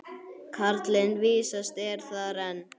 Karlinn vísast er þar enn.